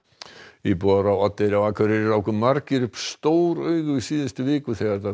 íbúar á Oddeyri á Akureyri ráku margir upp stór augu í síðustu viku þegar